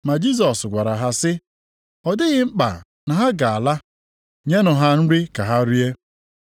Ma Jisọs gwara ha sị, “Ọ dịghị mkpa na ha ga-ala. Nyenụ ha nri ka ha rie.”